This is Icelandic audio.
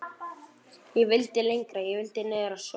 Ég vildi lengra. ég vildi niður að sjó.